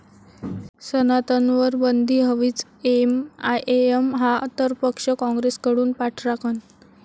सनातन'वर बंदी हवीच!, एमआयएम हा तर पक्ष, काँग्रेसकडून पाठराखण